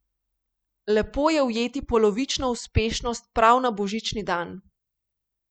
Lepo je ujeti polovično uspešnost prav na božični dan.